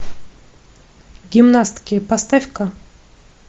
гимнастки поставь ка